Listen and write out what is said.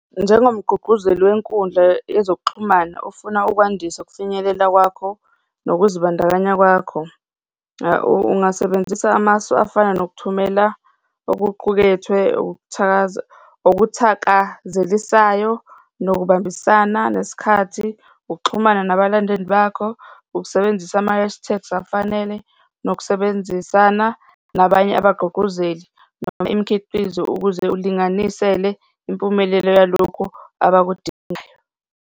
Njengomqguqguzeli wenkundla yezokuxhumana ofuna ukwandisa ukufinyelela kwakho nokuzibandakanya kwakho. Ungasebenzisa amasu afana nokuthumela okuqukethwe, okuthakazelisayo, nokubambisana nesikhathi, ukuxhumana nabalandeli bakho, ukusebenzisa ama-hash tags afanele, nokusebenzisana nabanye abagqugquzeli noma imikhiqizo ukuze ulinganisele impumelelo yalokhu abakudingayo.